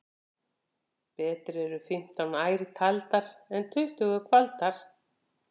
Betri eru fimmtán ær aldar en tuttugu kvaldar.